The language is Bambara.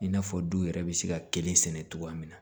I n'a fɔ du yɛrɛ bɛ se ka kelen sɛnɛ cogoya min na